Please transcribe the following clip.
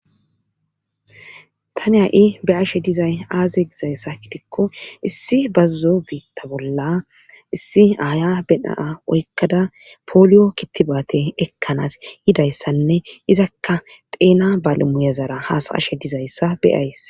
Tani ha7i be ashe dizay aaze gizayssa kitikko issi bazuzo biitta bolla issi aya beaa oykkada pooliyo kittibaate ekkanaas yidayssanne izakka xeena balimuyazara haasa ashe dizayssa beyays.